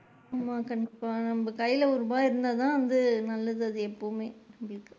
ஆமா கண்டிப்பா, நம்ம கையில ஒரு ரூபா இருந்தா தான் வந்து நல்லது அது எப்பொமெ.